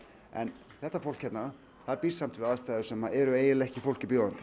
en þetta fólk hérna það býr samt við aðstæður sem eru eiginlega ekki fólki bjóðandi